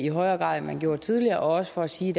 i højere grad end man gjorde tidligere og også for at sige